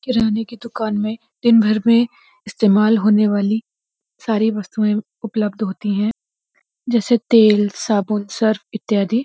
किराने की दुकान में दिन भर में इस्तेमाल होने वाली सारी वस्तुएँ उपलब्ध होती हैं जैसे तेल साबुन सर्फ इत्यादि।